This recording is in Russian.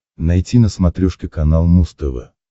найти на смотрешке канал муз тв